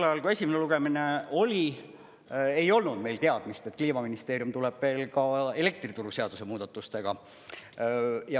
Sel ajal, kui esimene lugemine oli, ei olnud meil teadmist, et Kliimaministeerium tuleb veel ka elektrituruseaduse muudatustega.